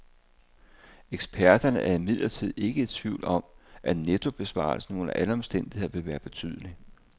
Eksperterne er imidlertid ikke i tvivl om, at nettobesparelsen under alle omstændigheder vil være betydelig.